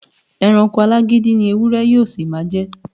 E̩ranko alágídí ni ewúré̩ yóó sì máa je̩.